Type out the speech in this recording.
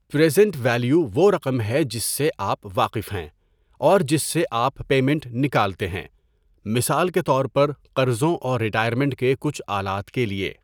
Present value وہ رقم جس سے آپ واقف ہیں اور جس سے آپ پیمینٹ نکالتے ہیں، مثال کے طور پر قرضوں اور ریٹائرمنٹ کے کچھ آلات کیلئے.